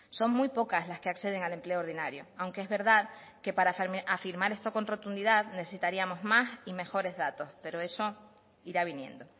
son muy pocas las que acceden al empleo ordinario aunque es verdad que para afirmar esto con rotundidad necesitaríamos más y mejores datos pero eso irá viniendo